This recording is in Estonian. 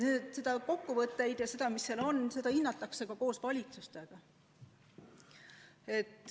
Ja kokkuvõtteid hinnatakse ka koos valitsustega.